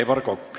Aivar Kokk.